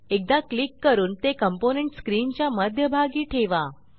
एकदा क्लिक करून ते कॉम्पोनेंट स्क्रीनच्या मध्यभागी ठेवा